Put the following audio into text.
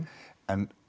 en